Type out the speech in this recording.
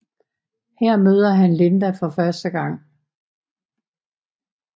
Her møder han Linda for første gang